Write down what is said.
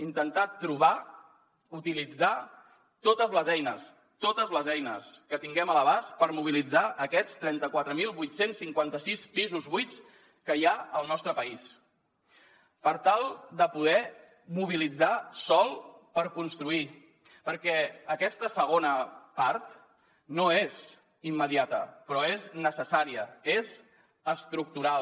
intentar trobar utilitzar totes les eines que tinguem a l’abast per mobilitzar aquests trenta quatre mil vuit cents i cinquanta sis pisos buits que hi ha al nostre país per tal de poder mobilitzar sòl per construir perquè aquesta segona part no és immediata però és necessària és estructural